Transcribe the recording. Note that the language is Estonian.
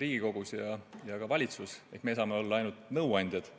Riigikogus ja ka valitsus, meie saame olla ainult nõuandjad.